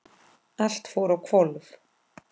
Allt fór á hvolf.